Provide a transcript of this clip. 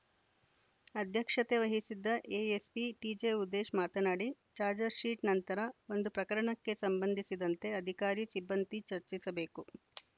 ಅಧ್ಯಕ್ಷತೆ ವಹಿಸಿದ್ದ ಎಎಸ್ಪಿ ಟಿಜೆಉದೇಶ್‌ ಮಾತನಾಡಿ ಚಾಜ್‌ರ್ ಶೀಟ್‌ ನಂತರ ಒಂದು ಪ್ರಕರಣಕ್ಕೆ ಸಂಬಂಧಿಸಿದಂತೆ ಅಧಿಕಾರಿ ಸಿಬ್ಬಂದಿ ಚರ್ಚಿಸಬೇಕು